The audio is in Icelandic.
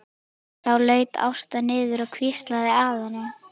Þá laut Ásta niður og hvíslaði að henni.